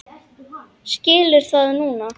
Skilur það núna.